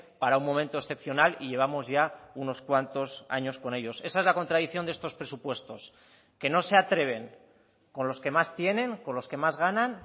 para un momento excepcional y llevamos ya unos cuantos años con ellos esa es la contradicción de estos presupuestos que no se atreven con los que más tienen con los que más ganan